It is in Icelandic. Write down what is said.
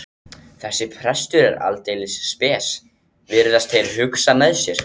Þessi prestur er aldeilis spes, virðast þeir hugsa með sér.